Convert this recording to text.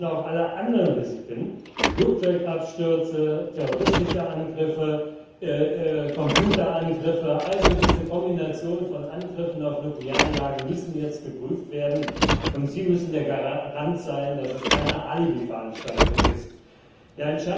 Wir müssen auch alle anderen Risiken Flugzeugabstürze, terroristische Angriffe, Computerangriffe, also diese Kombination von Angriffen auf Nuklearanlagen jetzt prüfen, und Sie müssen der Garant dafür sein, dass das keine Alibiveranstaltung wird.